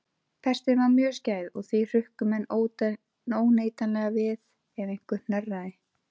Pestin var mjög skæð og því hrukku menn óneitanlega við ef einhver hnerraði.